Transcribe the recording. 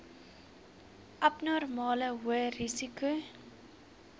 abnormale hoë risiko